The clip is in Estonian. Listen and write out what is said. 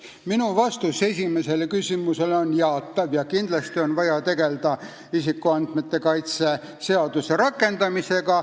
Minu vastus esimesele küsimusele on jaatav: kindlasti on vaja tegelda isikuandmete kaitse seaduse rakendamisega.